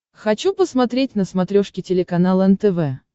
хочу посмотреть на смотрешке телеканал нтв